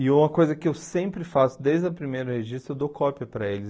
E uma coisa que eu sempre faço desde o primeiro registro, eu dou cópia para eles.